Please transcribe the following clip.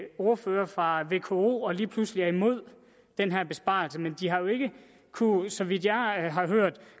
ordførere fra vko og lige pludselig er imod den her besparelse men de har jo ikke kunnet så vidt jeg har hørt